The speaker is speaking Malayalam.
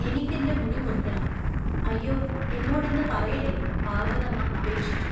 എനിക്കെൻ്റെ മുടി മുറിക്കണം. അയ്യോ, എന്നോടിന്ന് പറയല്ലേ, പാർവതമ്മ അപേക്ഷിച്ചു.